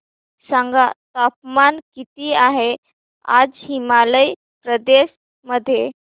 सांगा तापमान किती आहे आज हिमाचल प्रदेश मध्ये